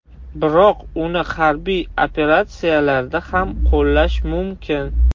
Biroq uni harbiy operatsiyalarda ham qo‘llash mumkin.